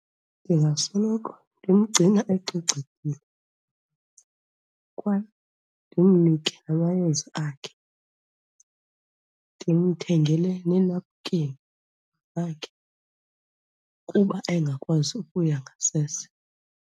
Ndingasoloko ndimgcina ecocekile kwaye ndimnike amayeza akhe, ndimthengele nenapkeni yakhe kuba engakwazi ukuya ngasese.